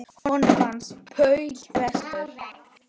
Honum fannst Paul bestur.